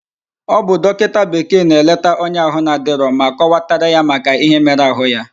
Obu dokinta bekee na eleta onye ahu na adiro, ma kowatara ya Maka ihe mere ahu ya